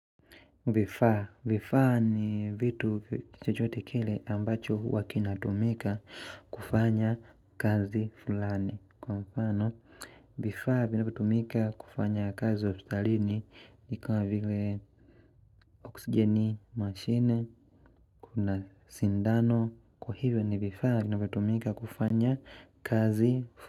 Vifaa ni vitu chochote kile ambacho huwa kinatumika kufanya kazi fulani Kwa mfano vifaa vinavyotumika kufanya kazi ospitalini ikuwa vile oksigeni mashine kuna sindano kwa hivyo ni vifaa vinavyotumika kufanya kazi fulani.